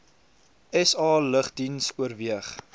sa lugdiens oorweeg